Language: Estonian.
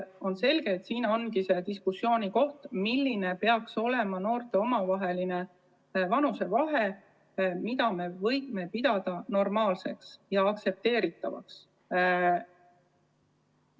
On selge, et siin ongi diskussiooni koht: milline peaks olema noorte vanusevahe, et võiksime nende suhet pidada normaalseks ja aktsepteeritavaks?